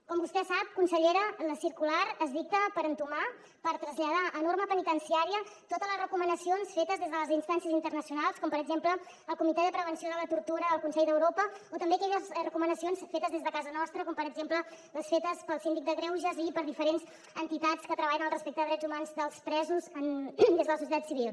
com vostè sap consellera la circular es dicta per entomar per traslladar a norma penitenciària totes les recomanacions fetes des de les instàncies internacionals com per exemple el comitè per a la prevenció de la tortura del consell d’europa o també aquelles recomanacions fetes des de casa nostra com per exemple fetes pel síndic de greuges i per diferents entitats que treballen pel respecte dels drets humans dels presos des de la societat civil